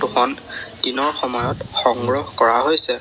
এইখন দিনৰ সময়ত সংগ্ৰহ কৰা হৈছে।